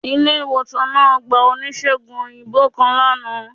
Ile-iwosan naa gba onísegùn oyinbo kan lana